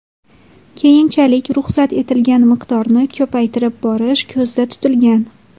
Keyinchalik ruxsat etilgan miqdorni ko‘paytirib borish ko‘zda tutilgan.